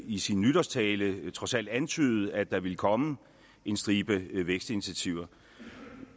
i sin nytårstale trods alt antydede at der vil komme en stribe vækstinitiativer